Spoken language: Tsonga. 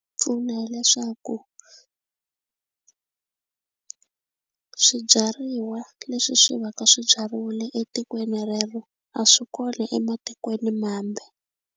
Pfuna hileswaku swibyariwa leswi swi va ka swibyariwile etikweni rero a swi kona ematikweni mambe.